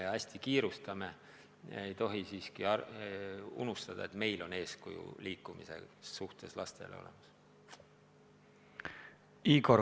Kogu aeg kiirustades ei tohi unustada, et me peame ka liikumise suhtes lastele eeskujuks olema.